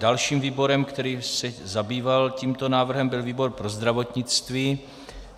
Dalším výborem, který se zabýval tímto návrhem, byl výbor pro zdravotnictví.